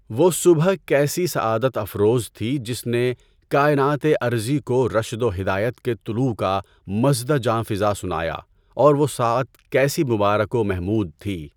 وہ صبح کیسی سعادت افروز تھی جس نے کائنات ارضی کو رشد و ہدایت کے طلوع کا مژدہ جانفزا سنایا اور وہ ساعت کیسی مبارک و محمود تھی